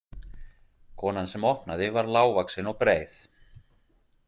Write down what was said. Konan sem opnaði var lágvaxin og breið.